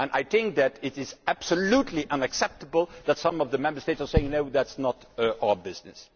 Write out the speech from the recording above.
I think that it is absolutely unacceptable that some of the Member States are saying that this is not their business.